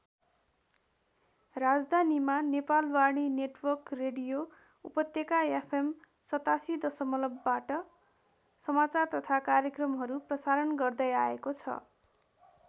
राजधानीमा Nepalvani network radio उपत्यका FM ८७ दशमलबवाट समाचार तथा कार्यक्रमहरू प्रशारण गर्दै आएको छ।